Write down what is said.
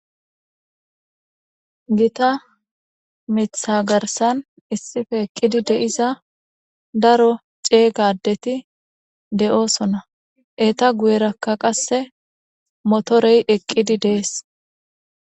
Gita miiththa garssan issippe eeqidii de'iza daro ceegga addeti de'iossonna eetta guyerakka qase motorey eeqidii de'es.